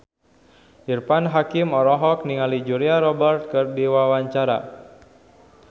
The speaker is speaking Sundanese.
Irfan Hakim olohok ningali Julia Robert keur diwawancara